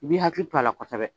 I bɛ hakili to a la kosɛbɛ.